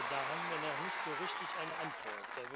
Da haben wir noch nicht so richtig eine Antwort.